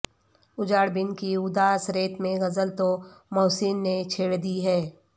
اجاڑ بن کی اداس رت میں غزل تو محسن نے چھیڑ دی ہے